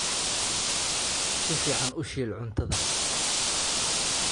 Si fiican u shiil cuntada